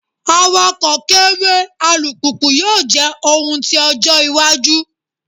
Awakọ kere alupupu yoo jẹ ohun ti ojo iwaju